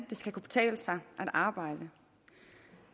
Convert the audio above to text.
det skal kunne betale sig at arbejde